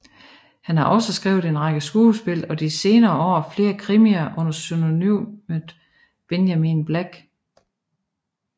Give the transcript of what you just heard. Han har også skrevet en række skuespil og de senere år flere krimier under pseudonymet Benjamin Black